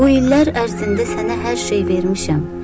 Bu illər ərzində sənə hər şey vermişəm.